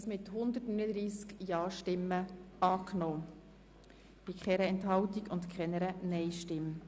Sie haben den Kredit einstimmig angenommen.